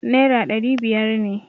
Naira dari biyar ne.